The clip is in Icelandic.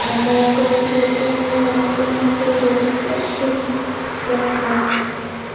Já, mjakaðu þér innfyrir, blessuð skepnan.